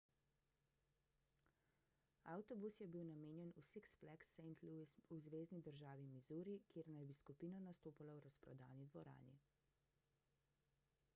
avtobus je bil namenjen v six flags st louis v zvezni državi misuri kjer naj bi skupina nastopala v razprodani dvorani